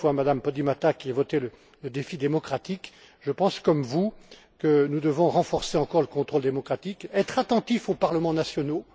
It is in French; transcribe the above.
À M. Duff ou à Mme Podimata, qui votaient le défi démocratique, je pense comme vous que nous devons renforcer encore le contrôle démocratique, être attentifs aux parlements